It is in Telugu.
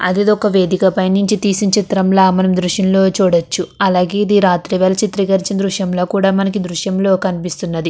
అదిదొక వేదిక పైనుంచి తీసిన చిత్రంల మనం దృశ్యం లో చూడొచ్చు. అలాగే ఇది రాత్రివేల చిత్రీకరించి దృశ్యంలో కూడా మనకి దృశ్యంలో కనిపిస్తున్నది.